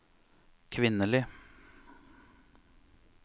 kvinnelige